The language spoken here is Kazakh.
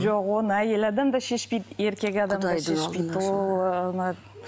жоқ оны әйел адам да шешпейді еркек адам да ол ы мына